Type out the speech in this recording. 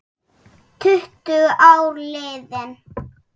Tuttugu ár liðin.